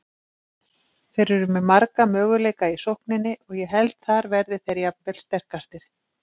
Þeir eru með marga möguleika í sókninni og ég held þar verði þeir jafnvel sterkastir.